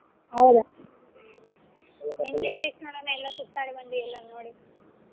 ಹೌದ ಭೇಷ್ ನೋಡ್ ಅಣ್ಣಾ ಎಲ್ಲಾ ಸುತ್ತಾಡಿ ಬಂದಿ ಎಲ್ಲಾ ನೋಡಿ.